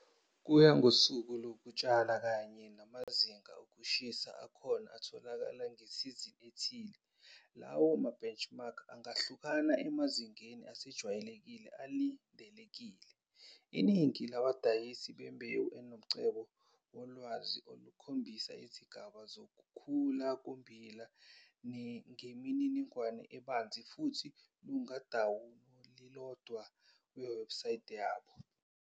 Kuya ngokosuku lokutshala kanye namazinga okushisa akhona atholakala ngesizini ethile lawo ma-benchmark angahluka emazingeni asijwayelekile alindelekile. Iningi labadayisi bembewu inomcebo wolwazi olukhombisa izigaba zokukhula kommbila ngemininingwane ebanzi futhi lungadawunilodwa kuwebsites yabo.